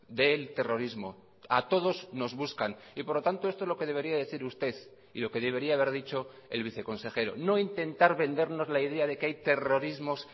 del terrorismo a todos nos buscan y por lo tanto esto es lo que debería decir usted y lo que debería haber dicho el viceconsejero no intentar vendernos la idea de que hay terrorismos